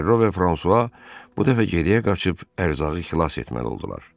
Ferro və Fransua bu dəfə geriyə qaçıb ərzağı xilas etməli oldular.